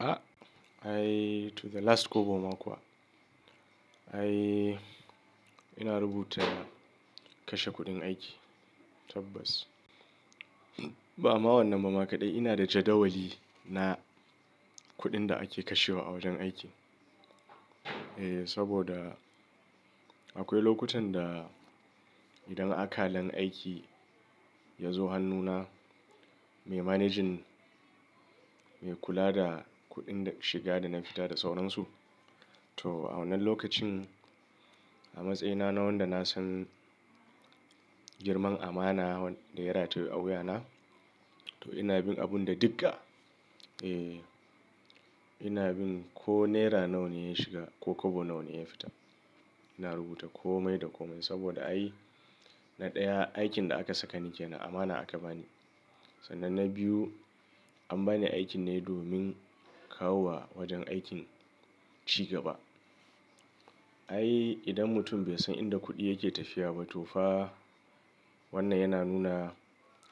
Ai to the last kobo ma kuwa. Eh ina rubuta kashe kuɗin aiki tabbas. Ba ama wannan mamakaɗai ina da jadawali na kuɗin da ake kashewa a wajen aiki. Eh saboda akwai lokutan da idan akalan aiki ya zo hannuna, me managing, me kula da kuɗin shiga da na fita da sauransu. To a wannan lokacin a matsayina na wanda na san girman amana da ya rataye a wuya na, to ina bin abun da digga. Eh ina bin ko naira nawa ne ya shiga ko kobo nawa ne ya fita. Ina rubuta komai da komai saboda ayi, na ɗaya aikin da aka saka ni ke nan amana aka bani. Sannan na biyu an bani aikin ne domin kawo wa wajen aikin cigaba. Ai idan mutum bai san inda kuɗi yake tafiya ba to fa wannan yana nuna